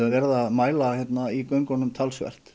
verið að mæla hérna í göngunum talsvert